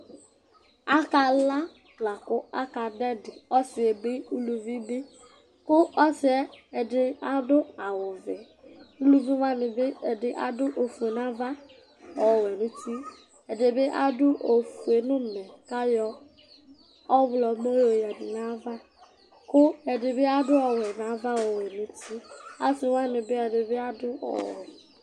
Akala la kʋ akadʋ ɛdɩ, ɔsɩ bɩ, uluvi bɩ kʋ ɔsɩ yɛ ɛdɩ adʋ awʋvɛ Uluvi wanɩ bɩ ɛdɩ adʋ ofue nʋ ava, ɔwɛ nʋ uti Ɛdɩ bɩ adʋ ofue nʋ ʋmɛ kʋ ayɔ ɔɣlɔmɔ yɔyǝdu nʋ ayava kʋ ɛdɩ bɩ adʋ ɔwɛ nʋ ava, ɔwɛ nʋ uti Asɩ wanɩ bɩ ɛdɩ bɩ adʋ ɔwɛ